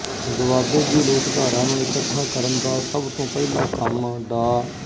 ਦੁਆਬੇ ਦੀ ਲੋਕਧਾਰਾ ਨੂੰ ਇਕੱਠਾ ਕਰਨ ਦਾ ਸਭ ਤੋਂ ਪਹਿਲਾ ਕੰਮ ਡਾ